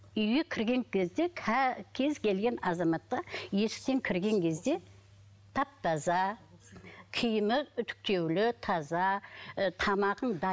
үйге кірген кезде кез келген азаматқа есіктен кірген кезде тап таза киімі үтіктеулі таза ы тамағың